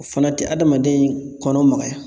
O fana tɛ adamaden kɔnɔ magaya.